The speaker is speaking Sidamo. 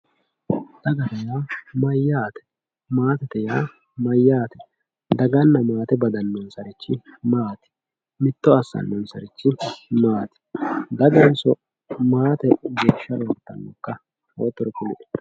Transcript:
dagate yaa mayaate maatete yaa mayaate daganna maate badanonsari maati mitto assanossarichi maati daganso maate geeshsha roortanoka